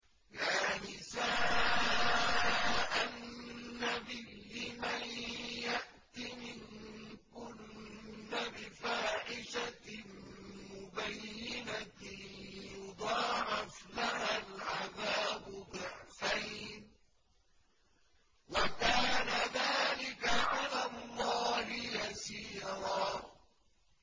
يَا نِسَاءَ النَّبِيِّ مَن يَأْتِ مِنكُنَّ بِفَاحِشَةٍ مُّبَيِّنَةٍ يُضَاعَفْ لَهَا الْعَذَابُ ضِعْفَيْنِ ۚ وَكَانَ ذَٰلِكَ عَلَى اللَّهِ يَسِيرًا